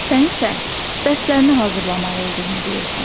Sən isə, dərslərini hazırlamalı olduğunu deyirsən.